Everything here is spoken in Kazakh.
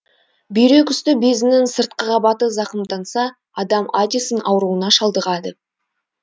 бүйрек үсті безінің сыртқы қабаты зақымданса адам аддисон ауруына шалдығады